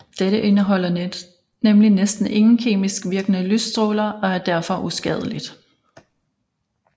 Dette indeholder nemlig næsten ingen kemisk virkende lysstråler og er derfor uskadeligt